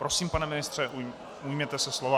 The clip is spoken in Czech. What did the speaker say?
Prosím, pane ministře, ujměte se slova.